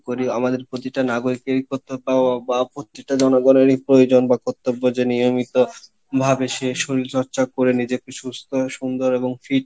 করি আমাদের প্রতিটা নাগরিক কে বা প্রত্যেকটা জনগণেরই প্রয়োজন বা কর্তব্য যে নিয়মিত ভাবে সে শরীর চর্চা করে নিজেকে সুস্থ সুন্দর এবং fit